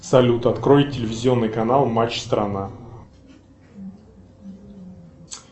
салют открой телевизионный канал матч страна